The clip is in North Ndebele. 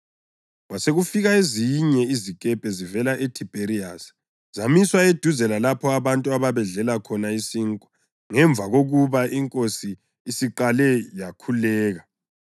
Kwasekufika ezinye izikepe zivela eThibheriyasi zamiswa eduze lalapho abantu ababedlele khona isinkwa ngemva kokuba iNkosi isiqale yakhuleka.